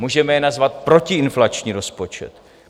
Můžeme jej nazvat protiinflační rozpočet.